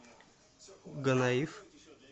гонаив